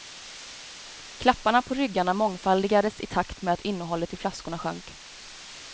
Klapparna på ryggarna mångfaldigades i takt med att innehållet i flaskorna sjönk.